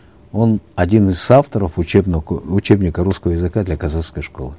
он один из соавторов учебника русского языка для казахской школы